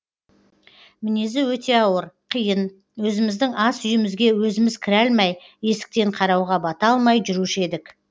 мінезі өте ауыр қиын өзіміздің ас үйімізге өзіміз кіре алмай есіктен қарауға бата алмай жүруші едік